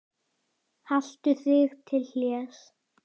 Boði Logason: Bara hægt eða?